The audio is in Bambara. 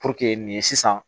nin ye sisan